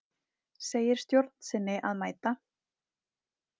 Segir stjórn sinni að mæta